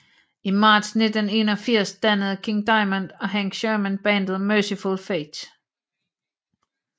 I marts 1981 dannede King Diamond og Hank Shermann bandet Mercyful Fate